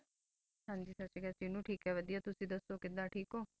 ਸਾਸਰੀ ਕਾਲ ਵਾਦੇਯਾ ਤੁਸੀਂ ਦਾਸੁ ਥੇਕ ਹੋ